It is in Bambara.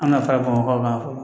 An ka farafin kan fɔlɔ